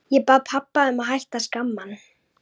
Ég bað pabba að hætta að skamma hann.